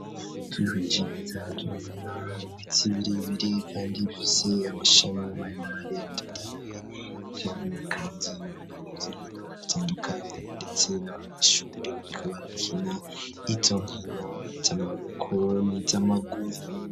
Twihweje neza turabona ibiti birebire, kandi bifise amashami maremare atotahaye, turabona kandi ivy'inkino bitandukanye, ndetse n'abanyeshuri bariko barakina izo nkino iz'amaboko n'iz'amaguru.